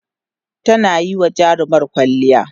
tana Yi wa jarumar kwalliya